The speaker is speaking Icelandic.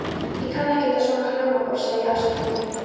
Ég kann ekkert á svona hljómborð sagði ég afsakandi.